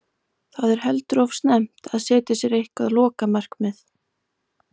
Það er heldur of snemmt að setja sér eitthvað lokamarkið.